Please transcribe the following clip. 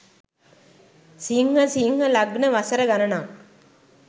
සිංහ සිංහ ලග්න වසර ගණනක්